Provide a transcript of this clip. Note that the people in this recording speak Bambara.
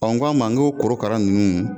Ɔ k'a ma n ko korokara ninnu